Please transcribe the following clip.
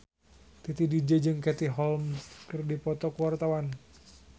Titi DJ jeung Katie Holmes keur dipoto ku wartawan